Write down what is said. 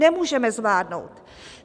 Nemůžeme zvládnout!